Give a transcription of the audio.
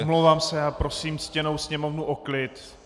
Omlouvám se a prosím ctěnou Sněmovnu o klid.